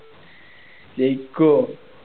ജയിക്കുവോ